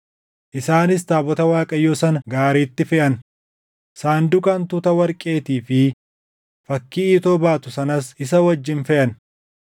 Isaanis taabota Waaqayyoo sana gaariitti feʼan. Sanduuqa hantuuta warqeetii fi fakkii iitoo baatu sanas isa wajjin feʼan.